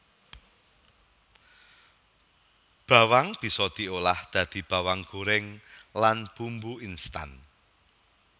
Bawang bisa diolah dadi bawang gorèng lan bumbu instan